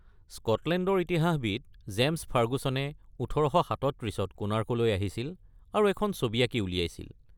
স্কটলেণ্ডৰ ইতিহাসবিদ জে’মছ ফাৰ্গুছনে ১৮৩৭-ত কোণাৰ্কলৈ আহিছিল আৰু এখন ছবি আঁকি উলিয়াইছিল।